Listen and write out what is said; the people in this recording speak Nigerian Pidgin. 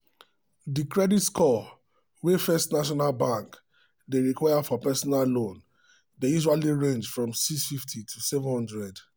the credit score wey first national bank dey require for personal loan dey usually range from 650 to 700.